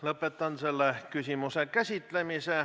Lõpetan selle küsimuse käsitlemise.